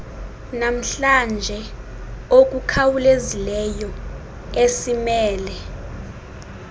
namhlanje okukhawulezileyo esimele